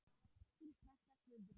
Þín frænka, Guðrún.